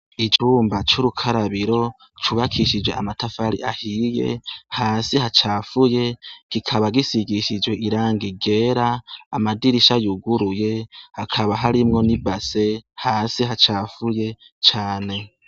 Icumba c' ubukarabiro cubakishij' amatafar'ahiye, hasi hacafuye kikaba gisigishij' irangi ryera, amadirisha yuguruye hakaba harimwo ni base hasi hacafuye cane.